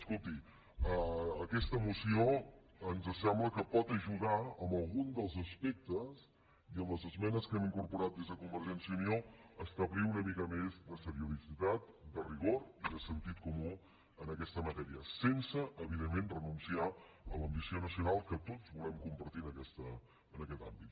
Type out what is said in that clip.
escolti aquesta moció ens sembla que pot ajudar en algun dels aspectes i amb les esmenes que hem incorporat des de convergència i unió a establir una mica més de seriositat de rigor i de sentit comú en aquesta matèria sense evidentment renunciar a l’ambició nacional que tots volem compartir en aquest àmbit